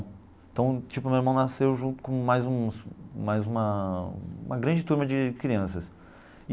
Então, tipo, o meu irmão nasceu junto com mais uns mais uma uma grande turma de crianças.